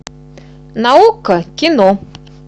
на окко кино